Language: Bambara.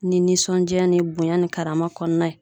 Ni nisɔndiya ni bonya ni karama kɔnɔna ye.